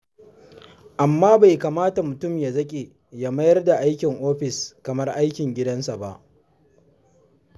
Amma bai kamata mutum ya zaƙe ya mayar da aikin ofis kamar aikin gidansa ba.